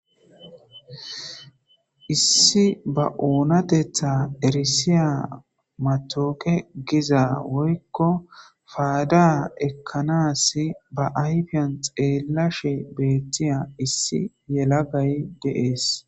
Issi ba oonatetha erisiya matooke giza woykko paada ekkanas ba ayfiyan xeellashe beettiya issi yelagay deees